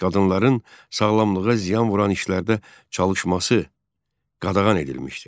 Qadınların sağlamlığa ziyan vuran işlərdə çalışması qadağan edilmişdi.